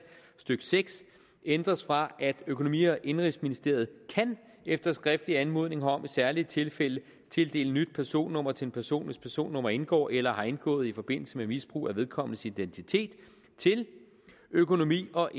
stykke seks ændres fra økonomi og indenrigsministeriet kan efter skriftlig anmodning herom i særlige tilfælde tildele nyt personnummer til en person hvis personnummer indgår eller har indgået i forbindelse med misbrug af vedkommendes identitet til økonomi og